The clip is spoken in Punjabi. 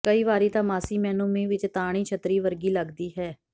ਕਈ ਵਾਰੀ ਤਾਂ ਮਾਸੀ ਮੈਨੂੰ ਮੀਂਹ ਵਿੱਚ ਤਾਣੀ ਛੱਤਰੀ ਵਰਗੀ ਲੱਗਦੀ ਹੈ